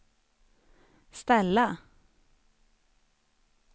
ställa